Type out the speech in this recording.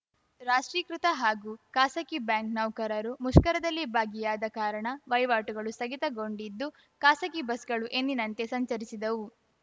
ರಾಷ್ಟ್ರೀಕೃತ ಹಾಗೂ ಖಾಸಗಿ ಬ್ಯಾಂಕ್‌ ನೌಕರರು ಮುಷ್ಕರದಲ್ಲಿ ಭಾಗಿಯಾದ ಕಾರಣ ವಹಿವಾಟುಗಳು ಸ್ಥಗಿತಗೊಂಡಿದ್ದು ಖಾಸಗಿ ಬಸ್‌ಗಳು ಎಂದಿನಂತೆ ಸಂಚರಿಸಿದವು